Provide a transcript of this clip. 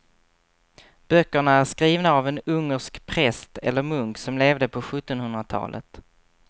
Böckerna är skrivna av en ungersk präst eller munk som levde på sjuttonhundratalet.